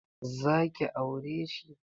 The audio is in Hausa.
Zaki aure shi?